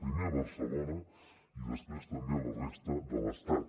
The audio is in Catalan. primer a barcelona i després també a la resta de l’estat